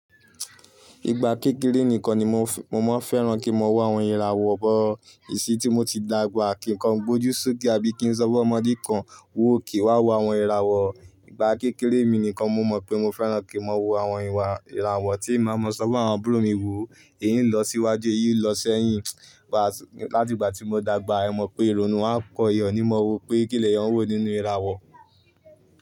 Igba kékeré nikan ni mo, mo máa fẹ́ràn kí n mọ wo àwọn ìràwọ̀ bọ̀. Kí ìṣí tí mo ti dàgbà kí n kan gbójú sókè àbí kí n sọ fún ọmọdé kan wu òkè wá wo àwọn ìràwọ̀. Igba kékeré mi nìkan mo mọ̀ pé mo fẹ́ràn kí n mọ wo àwọn ìràwọ̀ tí ì máa mọ sọ fún àwọn àbúrò mi wò. Èyí n lọ síwájú, èyí n lọ sí ẹ̀yìn. Láti ìgbà tí mo dàgbà, ẹ mọ̀ pé ìrònú a pọ ìyá ọnímọ̀wọ́ pé kí lẹ̀ yàn wò nínú ìràwọ̀.